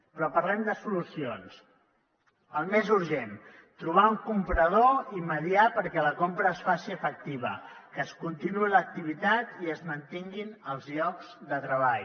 però parlem de solucions el més urgent trobar un comprador i mediar perquè la compra es faci efectiva que es continuï l’activitat i es mantinguin els llocs de treball